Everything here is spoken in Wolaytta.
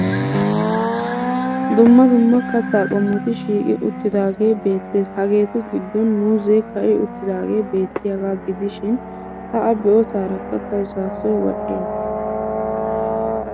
Dumma dumma kattaa qommoti shiiqi uttidaagee beettes. Hageetu giddon muuzzee ka'i uttidaagee beettiyaagaa gidishin ta a be'osaarakka tawu saassoy wodhdhi aggis.